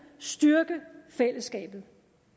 styrke fællesskabet